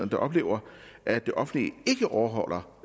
der oplever at det offentlige ikke overholder